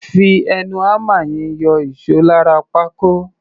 Fi ẹnu hámà yẹn yọ ìṣó lára pákó.